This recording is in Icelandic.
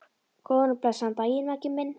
Góðan og blessaðan daginn, Maggi minn.